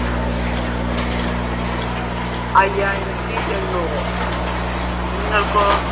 അയ്യായിരത്തി എണ്ണൂറ് നിങ്ങൾക്കോ?